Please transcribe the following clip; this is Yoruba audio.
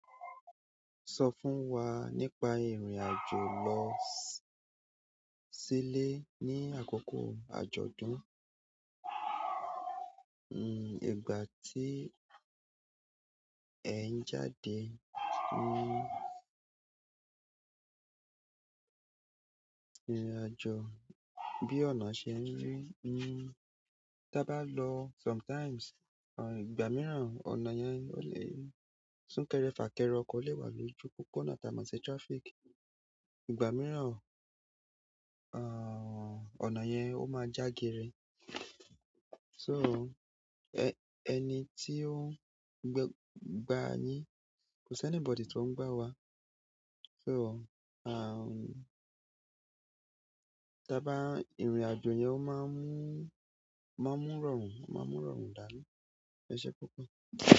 Sọ fún wa nípa ìrìn àjò lọ sílé ní àkókò àjọ̀dún. Hmm, ìgbà tí ẹ ń jáde hmm, ìrìn àjò bí ọ̀nà ṣe ń rí. Hmm, tí a bá lọ sometimes, à, ìgbà mìíràn ọ̀nà yẹn ó lè sún kẹrẹ, fà kẹrẹ, ọkọ̀ lè wà lójú púpọ̀ náà tàbí má ṣe traffic. Ìgbà mìíràn, àh, ọ̀nà yen o ma ja gere. So, ẹ́ ẹni tí ó gba ni. Ko si anybody tí ó ń gba wa. So, hmm taba irin ajo yen o maa nn, e se púpọ̀.